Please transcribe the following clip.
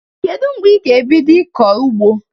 Kedu mgbe ị ga-ebido ịkọ ugbo?